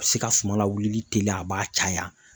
A bɛ se ka suman lawuli teliya a b'a caya.